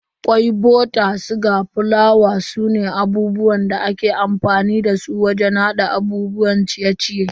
Kwai, bota, siga, fulawa sune abubuwan da aka fi amfani dasu wajen hada abubuwan ciye-ciye.